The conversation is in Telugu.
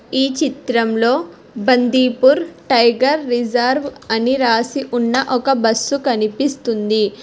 ఈ చిత్రంలో బందీపూర్ టైగర్ రిజర్వ్ అని రాసి ఉన్న ఒక బస్సు కనిపిస్తుంది.